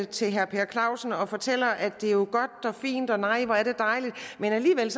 til herre per clausen og fortæller at det er jo godt og fint og nej hvor er det dejligt men alligevel